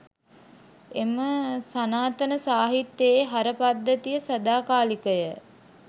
එම සනාතන සාහිත්‍යයේ හර පද්ධතිය සදාකාලිකය.